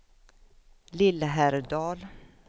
Lillhärdal